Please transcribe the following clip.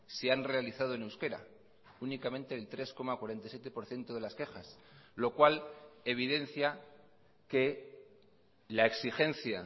se han realizado en euskera únicamente el tres coma cuarenta y siete por ciento de las quejas lo cual evidencia que la exigencia